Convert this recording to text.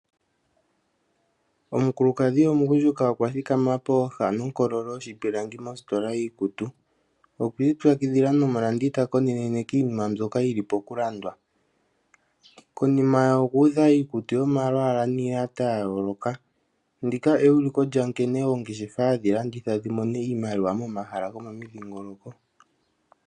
Omukulukadhi omugundjuka okwa thikama pooha nonkoloshipilangi mositola yiikutu. Okwi ipyakidhila nomulandi ta nkonene kiinima mbyoka yili pokulandwa. Konima ye okuudha iikutu yomalwaala niiyata ya yooloka. Ndika euliko lyankene oongeshefa hadhi landitha dhi mone iimaliwa momahala gomomudhingoloko.